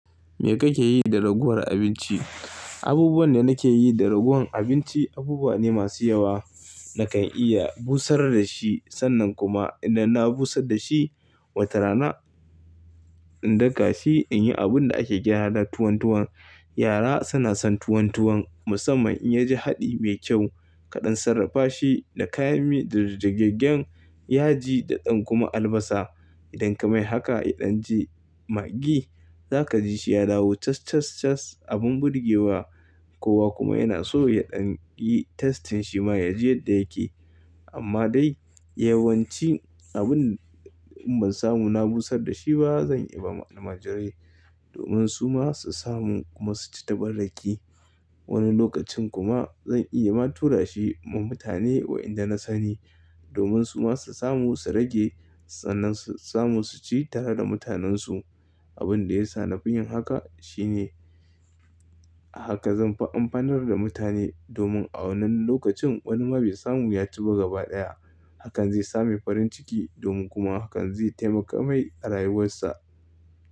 Me kake yi da ragowar abinci? Abubuwan da nake yi da ragowar abinci abubuwa ne masu yawa. Nakan iya busar da shi sannan kuma idan na busar da shi watarana in daka shi in yi abun da ake gyara tuwon tuwon. Yara suna son tuwon tuwon musamman in ya ji haɗi mai kyau kaɗan, sarrafashi da kayan mi da jirgejen yaji da ɗan kuma albasa. Idan ka mai haka idan ji maggi za ka ji shi ya dawo cas, cas, cas abin burge wa. Kowa kuma yana so ya ɗan yi testing shi ma ya ji yadda yake. Amma dai yawanci abin in ban samu na busar da shi ba zan iya ba wa almajirai domin su ma su samu kuma su ci ta banɗaki. Wani lokacin kuma zan iya ma tura shi ma mutane wa'inda na sani domin su ma su samu su rage sannan su samu su ci tare da mutanensu. Abin da ya sa na fi yin haka shine haka zan amfanar da mutane domin a wannan lokacin wani ma bai samu ya ci ba gaba ɗaya hakan zai sa mu farin ciki domin kuma hakan zai taimaka mai a rayuwarsa.